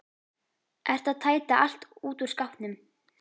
Ertu að tæta allt út úr skápnum?